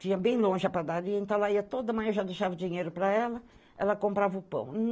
Tinha bem longe a padaria, então ela ia toda manhã, eu já deixava dinheiro para ela, ela comprava o pão.